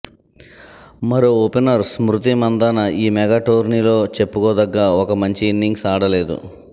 మరో ఓపెనర్ స్మృతి మంధాన ఈ మెగా టోర్నీలో చెప్పుకోదగ్గ ఒక్క మంచి ఇన్నింగ్స్ ఆడలేదు